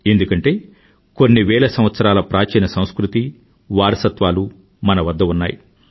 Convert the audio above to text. ఎందుకంటే కొన్నివేల సంవత్సరాల ప్రాచీన సంస్కృతి వారసత్వాలు మన వద్ద ఉన్నాయి